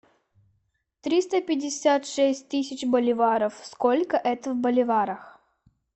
триста пятьдесят шесть тысяч боливаров сколько это в боливарах